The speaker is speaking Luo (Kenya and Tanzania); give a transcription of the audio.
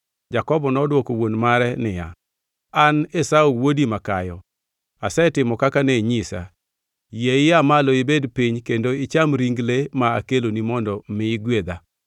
Jakobo nodwoko wuon mare niya, “An Esau wuodi makayo. Asetimo kaka ne inyisa. Yie ia malo ibed piny kendo icham ring le ma akeloni mondo mi igwedha.”